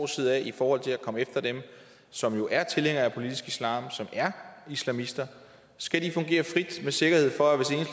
side i forhold til at komme efter dem som er tilhængere af politisk islam som er islamister skal de fungere frit med sikkerhed for at